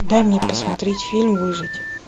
дай мне посмотреть фильм выжить